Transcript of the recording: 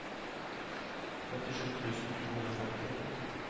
femtisju tusen to hundre og femti